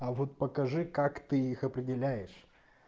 а вот покажи как ты их определяешь